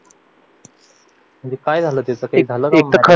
म्हणजे काय झालं त्याचं